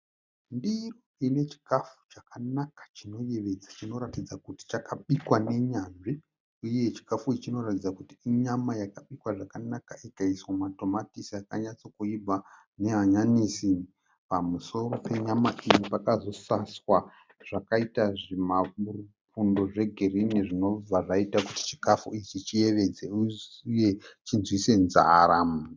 Ndiro ine chikafu chakanaka chinoyevedza. Chinoratidza kuti chakabikwa nenyanzvi. Uye chikafu ichi chinoratidza kuti inyama yakabikwa zvakanaka ikaiswa matomatisi akanatsa kuibva nehanyanisi . Pamusoro penyama iyi pakazosaswa zvakaita zvima bundo zve girinhi zvinobva zvaita kuti chikafu ichi chiyevedze uye chinzwise nzara.